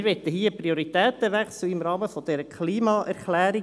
Wir möchten hier einen Prioritätenwechsel im Rahmen dieser Klimaerklärung.